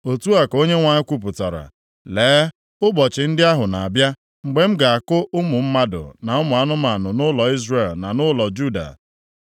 Otu a ka Onyenwe anyị kwupụtara, “Lee, ụbọchị ndị ahụ na-abịa, mgbe m ga-akụ ụmụ mmadụ na ụmụ anụmanụ nʼụlọ Izrel na nʼụlọ Juda.